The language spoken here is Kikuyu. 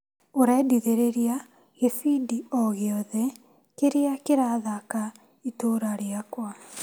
ũrendithĩrĩria gĩbindi o gĩothe kĩrĩa kĩrathaka itũra rĩakwa .